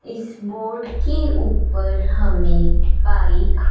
इस बोर्ड के ऊपर हमें बाइक --